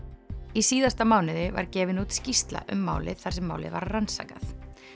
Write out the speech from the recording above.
í síðasta mánuði var gefin út skýrsla um málið þar sem málið var rannsakað